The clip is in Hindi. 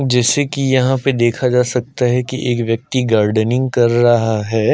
जैसे की यहाँ पे देखा जा सकता है एक व्यक्ति गार्डनिंग कर रहा है।